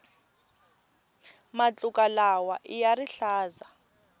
matluka lawaiya rihlaza